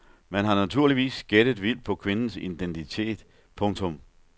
Man har naturligvis gættet vildt på kvindens identitet. punktum